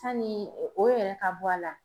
Sanni o yɛrɛ ka bɔ a la